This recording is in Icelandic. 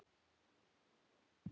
Lilja Rósa á tvær dætur.